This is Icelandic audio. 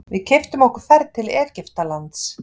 Við keyptum okkur ferð til Egyptalands.